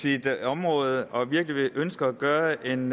sit område og virkelig ønsker at gøre en